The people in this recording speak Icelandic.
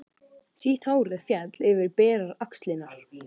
Sítt hárið féll yfir berar axlirnar.